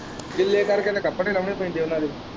ਗਿਲੇ ਕਰਕੇ ਤੇ ਕੱਪੜੇ ਲਾਉਣੇ ਪੈਂਦੇ ਇਹਨਾਂ ਦੇ।